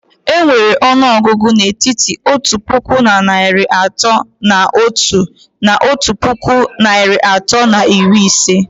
Enwere ọnụọgụ n'etiti otu puku na narị atọ na otu na otu puku narị atọ na iri ise